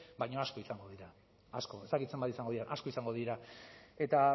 baina asko izango dira asko ez dakit zenbat izango diren asko izango dira eta